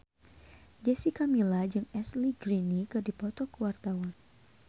Jessica Milla jeung Ashley Greene keur dipoto ku wartawan